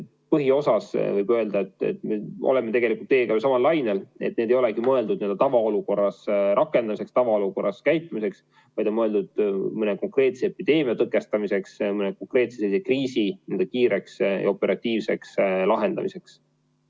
Põhiosas võib öelda, et me oleme teiega ju samal lainel: need ei olegi mõeldud tavaolukorras rakendamiseks, tavaolukorras tegutsemiseks, vaid on mõeldud mõne konkreetse epideemia tõkestamiseks, mõne konkreetse kriisi kiireks ja operatiivseks lahendamiseks.